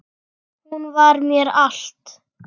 Hún var mér allt.